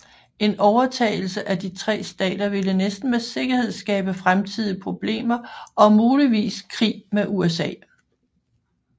En overtagelse af de tre stater ville næsten med sikkerhed skabe fremtidige problemer og muligvis krig med USA